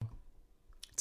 TV 2